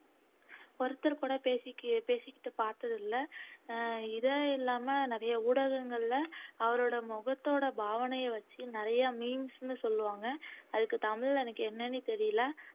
ஒருத்தர் கூட பேசிக் பேசிக்கிட்டு பார்த்ததில்ல அஹ் இது இல்லாம நிறைய ஊடகங்கள்ல அவரோட முகத்தோட பாவனையை வச்சு நிறைய memes ன்னு சொல்லுவாங்க அதுக்கு தமிழ்ல எனக்கு என்னன்னே தெரியல